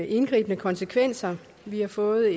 indgribende konsekvenser vi har fået